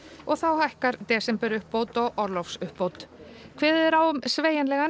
og þá hækkar desemberuppbót og orlofsuppbót kveðið er á um sveigjanlegan